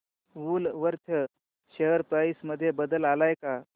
Woolworth share price मध्ये बदल आलाय का